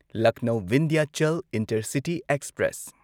Lucknow Vindhyachal intercity express